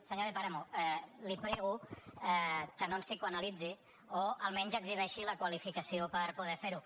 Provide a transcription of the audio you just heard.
senyor de páramo li prego que no ens psicoanalitzi o almenys exhibeixi la qualificació per poder fer ho